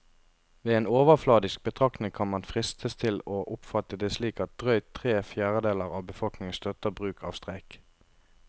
Ved en overfladisk betraktning kan man fristes til å oppfatte det slik at drøyt tre fjerdedeler av befolkningen støtter bruk av streik.